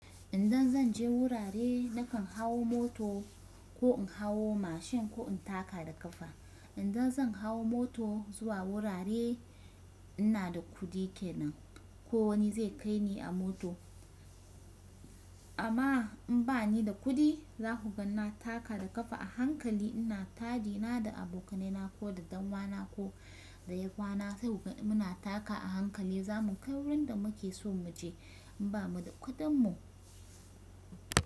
Indan zan je wurare nakan hawo moto ko in hawo mashin ko in taka da kafa. Indan zan hawo moto zuwa wurare ina da kuɗi kenan ko wani zai kai ni a moto. Amma in ba ni da kuɗi za ku ga na taka da kafa a hankali ina taɗi na da abokanai na ko da ɗan wa na ko da yayyafa na sai mu na taka a hankali zamu kai wurin da muke so mu je in ba mu da kuɗin mu.